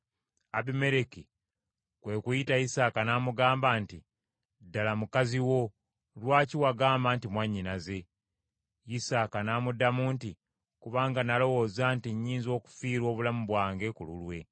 Abimereki kwe kuyita Isaaka n’amugamba nti, “Ddala, mukazi wo, lwaki wagamba nti, ‘Mwannyinaze’?” Isaaka n’amuddamu nti, “Kubanga nalowooza nti, ‘Nnyinza okufiirwa obulamu bwange ku lulwe.’ ”